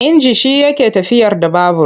Inji shi yake tafiyar da babur.